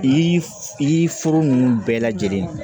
Yiri foro ninnu bɛɛ lajɛlen ye